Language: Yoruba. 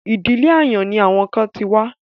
Ìdílé àyàn ni àwọn kan ti wá.